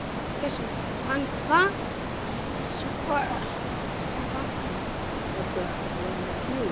Hann kvaðst vona að þau gætu talað saman um eitthvað annað en jafnrétti kvenna.